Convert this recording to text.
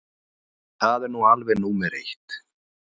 Það er nú alveg númer eitt.